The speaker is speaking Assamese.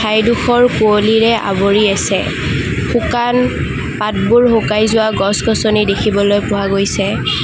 ঠাইডোখৰ কুঁৱলীৰে আৱৰি আছে শুকান পাতবোৰ শুকাই যোৱা গছ গছনি দেখিবলৈ পোৱা গৈছে।